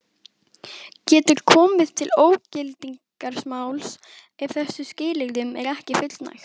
Getur komið til ógildingarmáls ef þessum skilyrðum er ekki fullnægt.